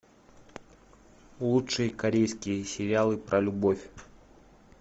лучшие корейские сериалы про любовь